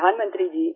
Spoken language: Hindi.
प्रधानमंत्री जी